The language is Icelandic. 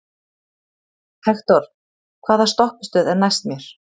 Hektor, hvaða stoppistöð er næst mér?